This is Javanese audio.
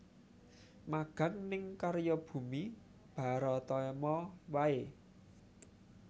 Magang ning Karya Bumi Baratama wae